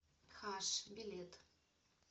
хаш билет